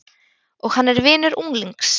Og hann er vinur unglings.